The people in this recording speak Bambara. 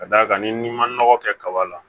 Ka d'a kan ni ma nɔgɔ kɛ kaba la